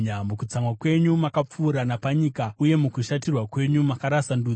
Mukutsamwa kwenyu makapfuura napanyika uye mukushatirwa kwenyu makarasa ndudzi.